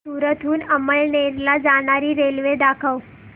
सूरत हून अमळनेर ला जाणारी रेल्वे दाखव